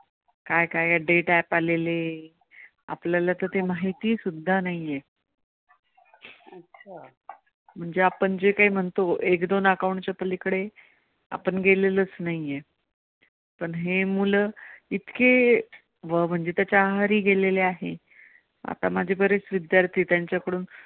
म्हणजे आपण जे कांही म्हणतो एक दोन account च्या पलीकडे आपण गेलेलोच नाही पण हे मुलं इतके म्हणजे त्याच्या आहारी गेलेले आहेत. आता माझे बरेच विद्यार्थी त्यांच्याकडून